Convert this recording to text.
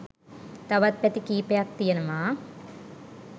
තවත් පැති කීපයක් තියෙනවා.